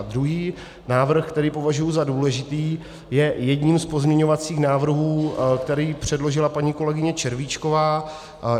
A druhý návrh, který považuji za důležitý, je jedním z pozměňovacích návrhů, který předložila paní kolegyně Červíčková.